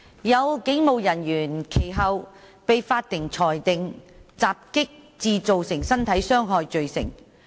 有警務人員其後被法庭裁定襲擊致造成身體傷害罪成。